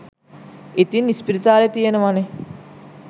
ඉතින් ඉස්පිරිතාල තියෙනවනේ